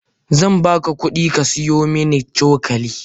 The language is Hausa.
Zan baka kudi ka siyo min cokali.